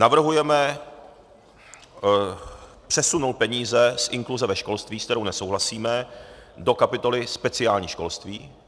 Navrhujeme přesunout peníze z inkluze ve školství, se kterou nesouhlasíme, do kapitoly speciální školství.